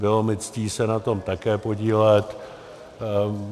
Bylo mi ctí se na tom také podílet.